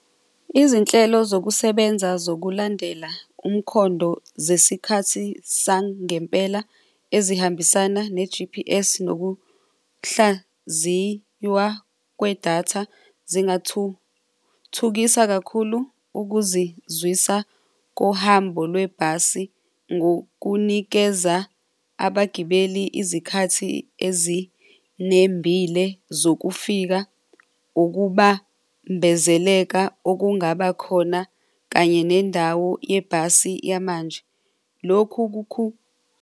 Izinhlelo zokusebenza zokulandela umkhondo zesikhathi sangempela ezihambisana ne-G_P_S nokuhlaziywa kwedatha zingathuthukisa kakhulu ukuzizwisa kohambo lwebhasi ngokunikeza abagibeli izikhathi ezinembile zokufika ukubambezeleka okungabakhona kanye nendawo yebhasi yamanje. Lokhu .